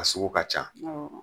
A ka sogo ka ca